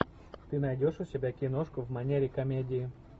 ты найдешь у себя киношку в манере комедии